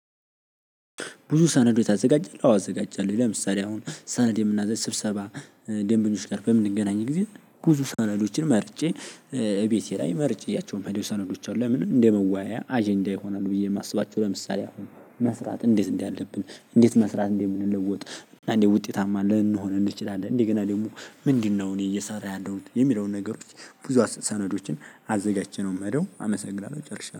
"ብዙ ሰነዶች ታዘጋጃለህ?" አዎ አዘጋጃለሁ። ለምሳሌ አሁን ሰነድ የምናዘ ስብሰባ ደንበኞች ጋር በምንገናኝ ጊዜ ብዙ ሰነዶችን መርጬ እቤቴ ላይ መርጬ ይዣቸው ምሄደው ሰነዶች አሉ። ለምን እንደመወያያ አጀንዳ ይሆናሉ ብዬ የማስባቸው ለምሳሌ አሁን መስራት እንዴት እንዳለብን እንዴት መስራት እንደምንለወጥ እንዴት ውጤታማ ልንሆን እንችላለን እንደገና ደግሞ "ምንድነው እኔ እየሰራ ያለሁት?" የሚለውን ነገሮች ብዙ ሰነዶችን አዘጋጅቼ ነው ምሄደው አመሰግናለሁ ጨርሻለሁ።